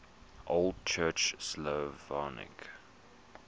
old church slavonic